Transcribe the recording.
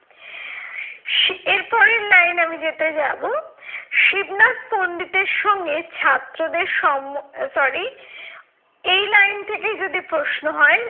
এর পরের line আমি যেটাই যাবো, শিবনাথ পন্ডিতের সঙ্গে ছাত্রদের সম sorry এই line থেকেই যদি প্রশ্ন হয়,